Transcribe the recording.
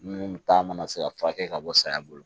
Minnu ta mana se ka furakɛ ka bɔ saya bolo